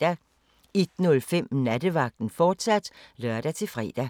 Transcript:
01:05: Nattevagten, fortsat (lør-fre) 02:00: